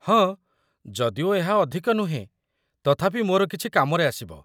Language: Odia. ହଁ, ଯଦିଓ ଏହା ଅଧିକ ନୁହେଁ, ତଥାପି ମୋର କିଛି କାମରେ ଆସିବ